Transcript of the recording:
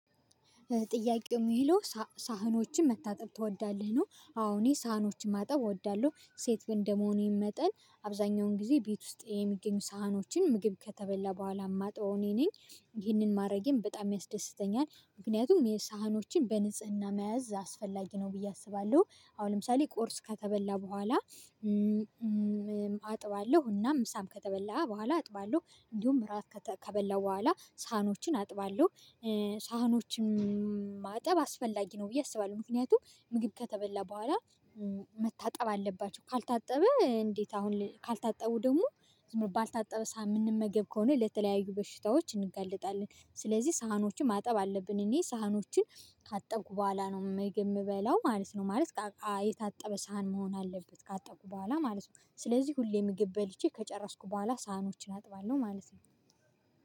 ጥያቄው ሚለው ሳህኖችን መታጠብ ትወዳለህ ነው? አዎ እኔ ሳህኖችን ማጠብ እወዳለሁ ሴት እንደመሆኔ መጠን አብዛኛውን ጊዜ ቤት ውስጥ የሚገኙ ሳህኖችን ምግብ ከተበላ በኋላ ማጥበው እኔ ነኝ ይህንን ማድረጌም በጣም ያስደስተኛል ምክንያቱም የሳህኖችን በንጽህና መያዝ አስፈላጊ ነው ብዬ አስባለሁ። አሁን ለምሳሌ ቁርስ ከተበላ በኋላ። አጥባለሁ እና ምሳ ከተበላ በኋላ አጥባለሁ እንዲሁም እራት ከበላው በኋላ ሳህኖችን አጥባለሁ። ሳህኖችን ማጠብ አስፈላጊ ነው ብዬ አስባለሁ። ምክንያቱም ምግብ ከተበላ በኋላ። መታጠብ አለባቸው ካልታጠበ እንዴት አሁን ካልታጠቡ ደግሞ ባልታጠበ ሳህን ምንመገብ ከሆነ ለተለያዩ በሽታዎች እንጋላጣለን። ስለዚህ ሳህኖችን ማጠብ አለብን። እኔ ሳህኖችን ካጠብኩ በኋላ ነው ምግብ የምበላው ማለት ነው። ማለት እቃ የታጠበ ሳህን መሆን አለበት። ካጠብኩ በኋላ ማለት ነው። ስለዚህ ሁሌ ምግብ በልቼ ከጨረስኩ በኋላ ሳህኖችን አጥባለሁ ማለት ነው